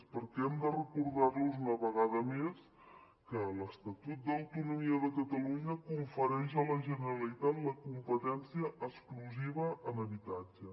perquè hem de recordar los una vegada més que l’estatut d’autonomia de catalunya confereix a la generalitat la competència exclusiva en habitatge